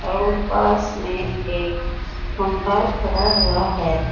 और पास में एक खंभा खड़ा हुआ है।